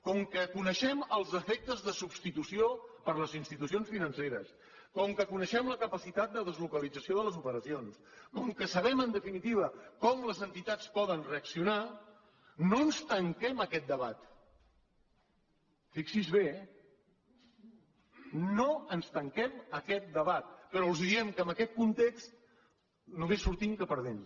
com que coneixem els efectes de substitució per les institucions financeres com que coneixem la capacitat de deslocalització de les operacions com que sabem en definitiva com les entitats poden reaccionar no ens tanquem a aquest debat fixi s’hi bé eh no ens tanquem a aquest debat però els diem que en aquest context només sortim que perdent